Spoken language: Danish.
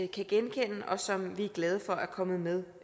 kan genkende og som vi er glade for er kommet med